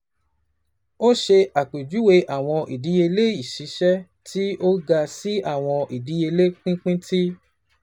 O ṣe apejuwe awọn idiyele iṣiṣẹ ti o ga si awọn idiyele pinpin, ti